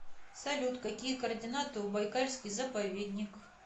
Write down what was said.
салют какие координаты у байкальский заповедник